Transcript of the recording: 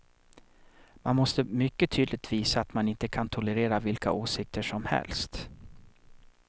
Man måste mycket tydligt visa att man inte kan tolerera vilka åsikter som helst.